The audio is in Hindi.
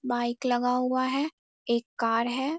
बाइक लगा हुआ है एक कार है।